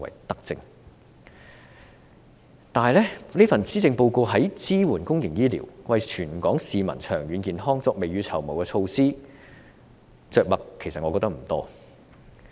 但是，我覺得此份施政報告在支援公營醫療、為全港市民長遠健康未雨綢繆的措施方面着墨不多。